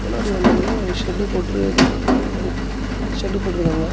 முன்னாடி வந்திக்கான ஒரு ஷெட் போட்டு எதோ கம்பெனி மாரி ஷெட்டு போட்ருக்காங்க.